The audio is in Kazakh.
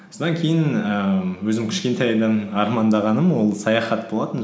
содан кейін ііі өзім кішкентайдан армандағаным ол саяхат болатын